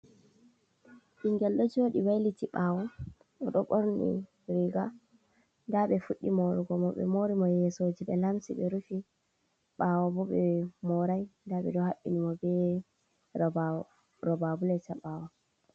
Ɓingel ɗo joɗi wailiti ɓawo, oɗo ɓorni riga nda ɓe fuɗɗi morugo mo, ɓe mori mo yesoji ɓe lamsi ɓe rufi, ɓawo bo ɓe morai nda ɓeɗo haɓɓini mo be roba bulet ha ɓawo.